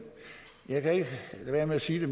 jeg kan ikke lade være med at sige det